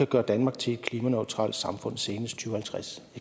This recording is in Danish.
gøre danmark til et klimaneutralt samfund senest og halvtreds